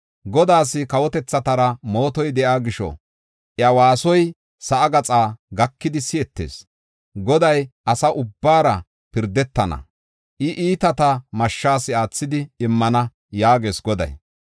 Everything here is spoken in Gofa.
Godaas kawotethatara mootoy de7iya gisho iya waasoy sa7a gaxaa gakidi si7etees. Goday asa ubbaara pirdetana; I iitata mashshas aathidi immana” yaagees Goday.